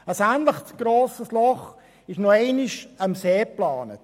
Ein ähnlich grosses Loch ist nochmals am See geplant.